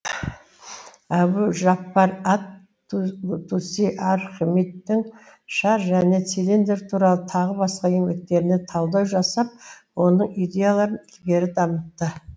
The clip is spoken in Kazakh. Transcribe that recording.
әбу жаппар ат туси архимедтің шар және цилиндр туралы тағы басқа еңбектеріне талдау жасап оның идеяларын ілгері дамытты